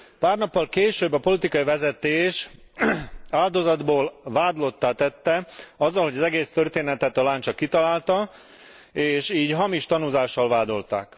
Pár nappal később a politikai vezetés áldozatból vádlottá tette azzal, hogy az egész történetet a lány csak kitalálta, és így hamis tanúzással vádolták.